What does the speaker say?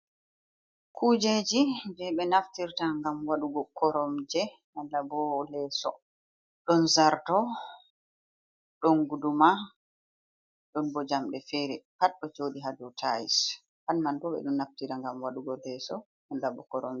Kujeji jey ɓe naftirta, ngam waɗugo koromje malla bo, leeso, ɗon zarto, ɗon guduma, ɗon bo jamɗe feere, pat ɗo jooɗi haa dow tayis. Pat man ɗo, ɓe ɗon naftira, ngam waɗugo leeso, malla bo koromje.